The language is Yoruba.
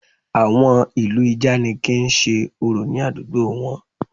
Àwọn ìlú ìjànikin ń ṣe orò ní àdúgbò wọn